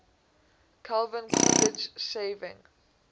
calvin coolidge shaving